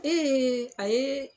a ye